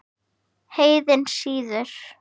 Heiðinn siður